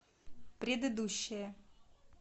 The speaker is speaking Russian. предыдущая